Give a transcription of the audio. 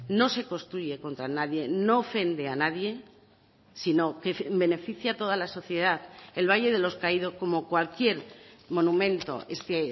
no se construye contra nadie no ofende a nadie sino que beneficia a toda la sociedad el valle de los caído como cualquier monumento es que